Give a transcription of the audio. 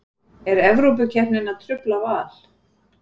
Er Evrópukeppnin að trufla Val?